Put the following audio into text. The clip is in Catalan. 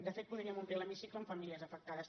de fet podríem omplir l’hemicicle amb famílies afectades